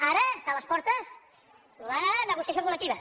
ara està a les portes la negociació col·lectiva